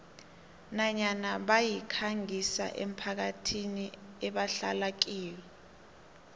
nanyana bayikhangisa emphakathini ebahlala kiyo